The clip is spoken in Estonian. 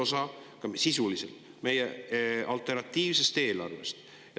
See oli sisuliselt üks osa meie alternatiivsest eelarvest.